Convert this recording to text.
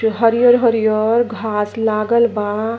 जो हरियर हरियर घास लागल बा।